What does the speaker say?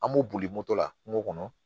An b'o boli moto la kungo kɔnɔ